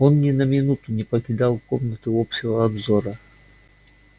он ни на минуту не покидал комнаты общего обзора